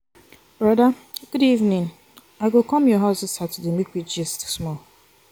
broda good evening i go come your house dis saturday make we gist small.